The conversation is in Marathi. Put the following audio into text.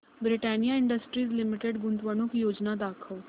ब्रिटानिया इंडस्ट्रीज लिमिटेड गुंतवणूक योजना दाखव